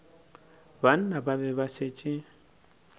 banna ba be ba šetše